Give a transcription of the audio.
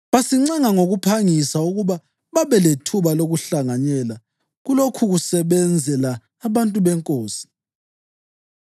basincenga ngokuphangisa ukuba babe lethuba lokuhlanganyela kulokhukusebenzela abantu beNkosi.